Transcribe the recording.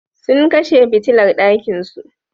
Sun kashe fitilar ɗakinsu.